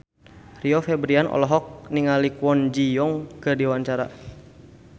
Rio Febrian olohok ningali Kwon Ji Yong keur diwawancara